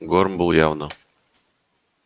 горм был явно шокирован